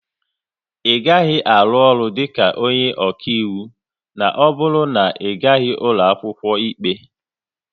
Ị gaghị arụ ọrụ dịka onye ọkaiwu na ọ bụrụ na Ị gaghị ụlọ akwụkwọ ikpe